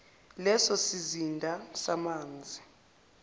leso sizinda samanzi